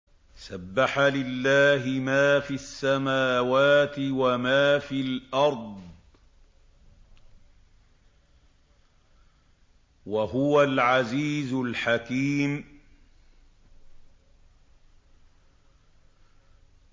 سَبَّحَ لِلَّهِ مَا فِي السَّمَاوَاتِ وَمَا فِي الْأَرْضِ ۖ وَهُوَ الْعَزِيزُ الْحَكِيمُ